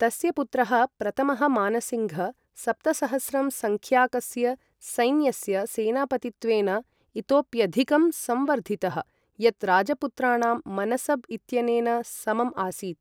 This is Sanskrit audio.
तस्य पुत्रः प्रथमः मानसिङ्घ्, सप्तसहस्रं सङ्ख्याकस्य सैन्यस्य सेनापतित्वेन इतोप्यधिकं संवर्धितः, यत् राजपुत्राणां मनसब् इत्यनेन समम् आसीत्।